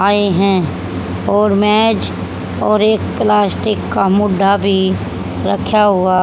आए हैं और मैज और एक प्लास्टिक का मुढ्ढा भी रखा हुआ--